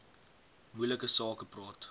moeilike sake praat